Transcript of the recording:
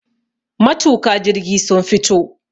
matuka. jirgi sun fito